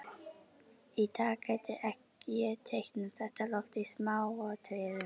Í dag gæti ég teiknað þetta loft í smáatriðum.